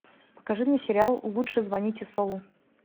покажи мне сериал лучше звоните солу